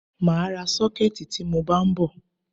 Mà á ra sọ́kẹ̀tì tí mọ bá ń bọ̀.